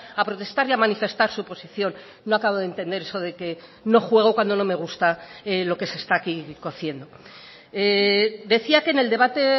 a protestar y a manifestar su posición no acabo de entender eso de que no juego cuando no me gusta lo que se está aquí cociendo decía que en el debate